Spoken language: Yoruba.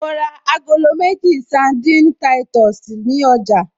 Mo ra agolo méjì sandini táìtọ̀sì ní ọjà